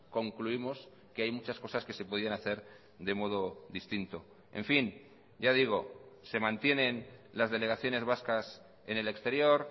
concluimos que hay muchas cosas que se podían hacer de modo distinto en fin ya digo se mantienen las delegaciones vascas en el exterior